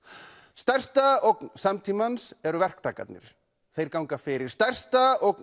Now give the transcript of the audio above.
stærsta ógn samtímans eru verktakarnir þeir ganga fyrir stærsta ógn